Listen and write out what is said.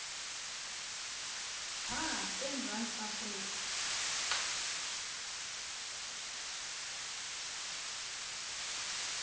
pha emzantsi afrika